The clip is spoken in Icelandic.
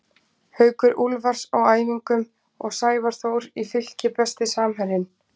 Haukur Úlfars á æfingum og Sævar Þór í Fylki Besti samherjinn?